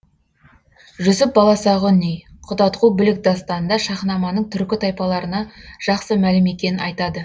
жүсіп баласағұни құтадғу білік дастанында шаһнаманың түркі тайпаларына жақсы мәлім екенін айтады